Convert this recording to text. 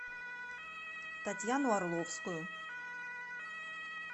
татьяну орловскую